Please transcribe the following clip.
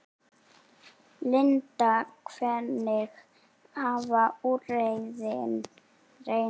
Linda, hvernig hafa úrræðin reynst?